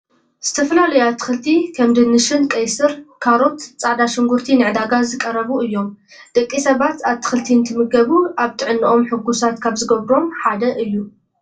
ዝተፈላለዩ ኣትክልቲ ከም ድንሽን ቀይስር፣ ካሮት፣ ፃዕዳ ሽጉርቲ ንዕዳጋ ዝቀረቡ እዮም ። ደቂ ሰባት ኣትክልቲ እንትምገቡ ኣብ ጥዕነኦም ሑጉሳት ካብ ዝገብሮም ሓደ እዩ ።